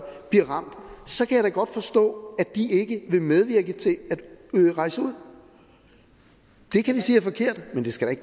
så kan godt forstå at de ikke vil medvirke til at rejse ud det kan vi sige er forkert men det skal